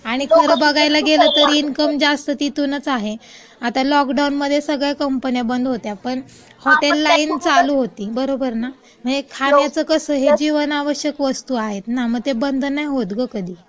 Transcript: आणि खरं बघायला गेलं तर इन्कम जास्त तिथूनच आहे. आता लॉकडाउनमध्ये सगळ्या कंपन्या बंद होत्या. पण हॉटेल लाईन चालू होती.बरोबर ना? हे खाण्याचं कसं हे जीवनावश्यक वस्तू आहे ना, मग ते बंद नाही होत कधी.